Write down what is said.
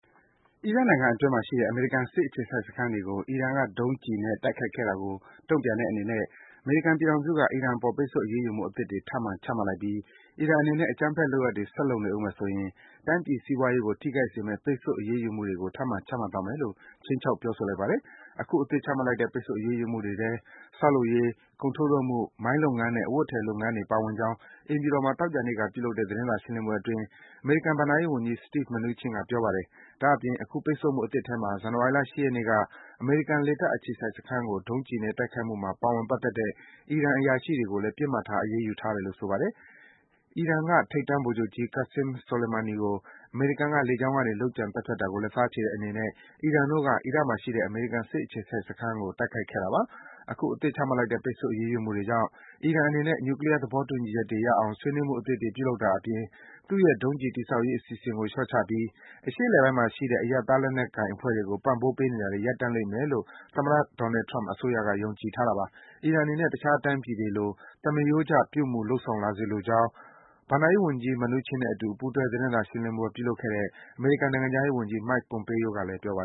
အီရတ်နိုင်ငံအတွင်းမှာရှိတဲ့ အမေရိကန်စစ်အခြေစိုက်စခန်းတွေကို အီရန်က ဒုံးကျည်နဲ့တိုက်ခိုက်ခဲ့တာကို တုံ့ပြန်တဲ့အနေနဲ့ အမေရိကန်ပြည်ထောင်စုက အီရန်အပေါ် ပိတ်ဆို့ အရေးယူမှုအသစ်တွေ ထပ်မံ ချမှတ်လိုက်ပြီး အီရန်အနေနဲ့ အကြမ်းဖက်လုပ်ရပ်တွေ ဆက်လုပ်နေဦးမယ်ဆိုရင် တိုင်းပြည်စီးပွားရေးကို ထိခိုက်စေမယ့် ပိတ်ဆို့အရေးယူမှုတွေ ထပ်မံ ချမှတ်သွားမယ်လို့ ခြိမ်းခြောက် ပြောဆိုလိုက်ပါတယ်။ အခု အသစ်ချမှတ်တဲ့ ပိတ်ဆို့ အရေးယူမှုတွေထဲ ဆောက်လုပ်ရေး၊ ကုန်ထုတ်လုပ်မှု၊ မိုင်းလုပ်ငန်းနဲ့ အဝတ်အထည်လုပ်ငန်းတွေ ပါဝင်ကြောင်း အိမ်ဖြူတော်မှာ သောကြာနေ့ကပြုလုပ်တဲ့ သတင်းစာရှင်းလင်းပွဲအတွင်း အမေရိကန်ဘဏ္ဍာရေးဝန်ကြီး Steve Mnuchin က ပြောပါတယ်။ ဒါ့အပြင် အခုပိတ်ဆို့မှု အသစ်ထဲမှာ ဇန်နဝါရီလ ၈ ရက်နေ့က အမေရိကန်လေတပ်အခြေစိုက်စခန်းကို ဒုံးကျည်နဲ့ တိုက်ခိုက်မှုမှာ ပါဝင် ပတ်သက်တဲ့ အီရန်အရာရှိတွေကိုလည်း ပစ်မှတ်ထား အရေးယူထားတယ်လို့ ဆိုပါတယ်။ အီရန်က ထိပ်တန်းဗိုလ်ချုပ်ကြီး Qassem Soleimani ကို အမေရိကန်က လေကြောင်းကနေ လုပ်ကြံ သတ်ဖြတ်တာကို လက်စားခြေတဲ့အနေနဲ့ အီရန်တို့က အီရတ်မှာရှိတဲ့ အမေရိကန် စစ်အခြေစိုက်စခန်းကို တိုက်ခိုက်ခဲ့တာပါ။ အခု အသစ်ချမှတ်လိုက်တဲ့ ပိတ်ဆို့ အရေးယူမှုတွေကြောင့် အီရန်အနေနဲ့ နျူကလီးယား သဘောတူညီချက်တွေရအောင် ဆွေးနွေးမှု အသစ်တွေ ပြုလုပ်တာအပြင် သူ့ရဲ့ ဒုံးကျည်တည်ဆောက်ရေးအစီအစဉ်ကို လျော့ချပြီး အရှေ့အလယ်ပိုင်းမှာရှိတဲ့ အရပ်သားလက်နက်ကိုင် အဖွဲ့တွေကို ပံ့ပိုးပေးနေတာတွေ ရပ်တန့်လိမ့်မယ်လို့ သမ္မတ Donald Trump အစိုးရက ယုံကြည်ထားတာပါ။ အီရန်အနေနဲ့ တခြားတိုင်းပြည်တွေလို သမားရိုးကျ ပြုမူလုပ်ဆောင်လာစေလိုကြောင်း ဘဏ္ဍာရေးဝန်ကြီး Mnuchin နဲ့အတူ ပူးတွဲ သတင်းစာရှင်းလင်းပွဲ ပြုလုပ်ခဲ့တဲ့ အမေရိကန်နိုင်ငံခြားရေးဝန်ကြီး Mike Pompeo ကလည်း ပြောပါ